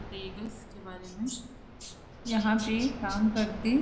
बताइएगा इसके बारे में यहां पे काम करते --